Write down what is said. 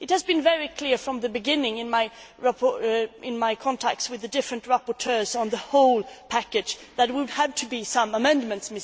It has been very clear from the beginning, in my contact with the different rapporteurs on the whole package, that there would have to be some amendments.